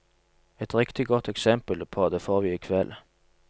Et riktig godt eksempel på det får vi i kveld.